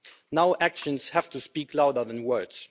Now actions have to speak louder than words.